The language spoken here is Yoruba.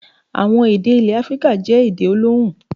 Àwọn èdè ilẹ̀ Áfíríkà jẹ́ èdè olóhùn.